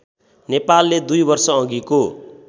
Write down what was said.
नेपालले दुई वर्षअघिको